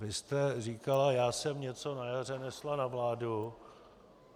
Vy jste říkala: já jsem něco na jaře nesla na vládu.